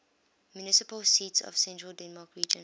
municipal seats of central denmark region